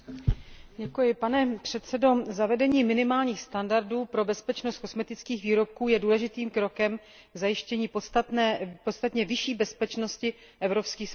Pane předsedo, zavedení minimálních standardů pro bezpečnost kosmetických výrobků je důležitým krokem k zajištění podstatně vyšší bezpečnosti evropských spotřebitelů.